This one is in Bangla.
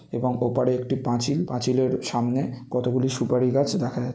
এবং ওপারে একটি পাঁচিল। পাচিলের সামনে কত গুলি সুপারি গাছ দেখা যা --